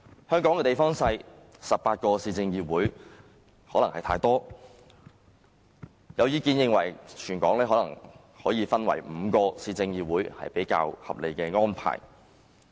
香港地方小 ，18 個市議會可能太多，有意見認為，全港分為5個市議會可能是較合理的安排。